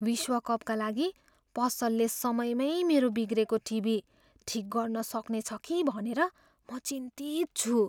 विश्व कपका लागि पसलले समयमै मेरो बिग्रेको टिभी ठिक गर्न सक्नेछ के भनेर म चिन्तित छु।